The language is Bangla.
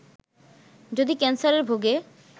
যদি ক্যানসারে ভোগে